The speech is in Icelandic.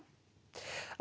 á